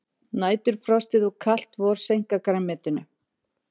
Næturfrostið og kalt vor seinka grænmetinu